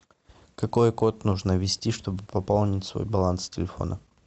какой код нужно ввести чтобы пополнить свой баланс телефона